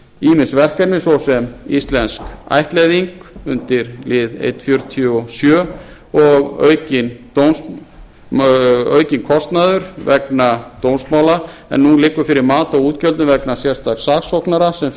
ýmis verkefni svo sem eins og íslensk ættleiðing undir lið eins fjörutíu og sjö og aukinn kostnaður vegna dómsmála en nú liggur fyrir mat á útgjöldum vegna sérstaks saksóknara sem